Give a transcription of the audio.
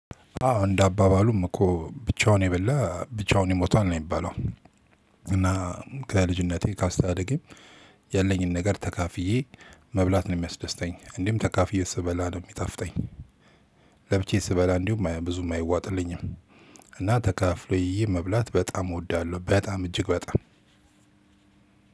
አዎ እንደ አባባሉም እኮ ብቻውን የበላ ብቻውን ይሞታል ነው የሚባለው። እና ከልጅነቴ ካስተዳደጌም ያለኝን ነገር ተካፍዬ መብላት ነው የሚያስደስተኝ። እንዲሁም ተካፍዬ ስበላ ነው የሚጣፍጠኝ። ለብቻየ ስበላ እንዲሁ ብዙም አይዋጥልኝም። እና ተካፍሎ የ መብላት በጣም እወዳለሁ በጣም እጅግ በጣም